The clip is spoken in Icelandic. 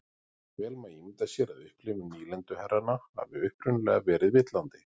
Vel má ímynda sér að upplifun nýlenduherranna hafi upprunalega verið villandi.